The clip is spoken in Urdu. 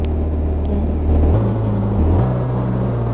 کیا اس کے اپنے عمل و حال و قال میں